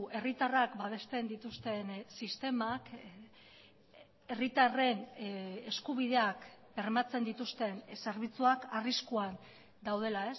herritarrak babesten dituzten sistemak herritarren eskubideak bermatzen dituzten zerbitzuak arriskuan daudela